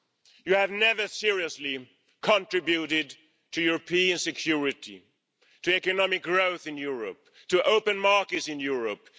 You have never seriously contributed to European security, to economic growth in Europe, to open markets in Europe.